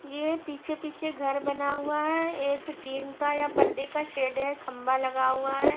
ये पीछे पीछे घर बना हुआ है एक टीन का या पर्दे का शेड है खंबा लगा हुआ है।